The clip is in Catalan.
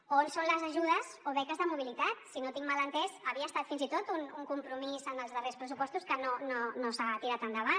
on són les ajudes o beques de mobilitat si no ho tinc mal entès havia estat fins i tot un compromís en els darrers pressupostos que no s’ha tirat endavant